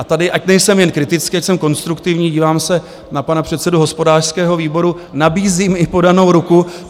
A tady, ať nejsem jen kritický, ať jsem konstruktivní, dívám se na pana předsedu hospodářského výboru, nabízím i podanou ruku.